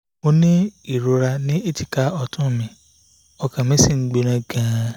mo ní ìrora ní èjìká ọ̀tún mi ọkàn mi sì ń gbóná gan-an